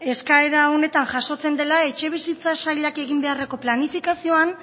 eskaera honetan jasotzen dela etxebizitza sailak egin beharreko planifikazioan